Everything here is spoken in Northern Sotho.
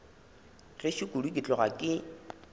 gešo kudu ke tloga ke